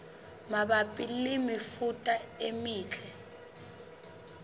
mabapi le mefuta e metle